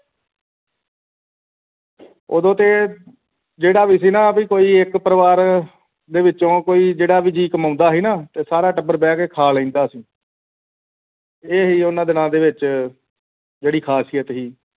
ਉਦੋਂ ਤੇ ਜਿਹੜਾ ਵੀ ਸੀਨਾ ਕੋਈ ਇੱਕ ਪਰਿਵਾਰ ਦੇ ਵਿਚੋਂ ਜਿਹੜਾ ਵੀ ਜੀ ਕਮਾਉਂਦਾ ਸੀਨਾ ਸਾਰਾ ਟੱਬਰ ਬਹਿ ਕੇ ਖਾ ਲੈਂਦਾ ਸੀ ਇਹ ਸੀ ਉਹਨਾਂ ਦਿਨਾਂ ਦੇ ਵਿਚ ਜਿਹੜੀ ਖਾਸੀਅਤ ਸੀ